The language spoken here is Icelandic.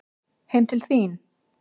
Heim til þín?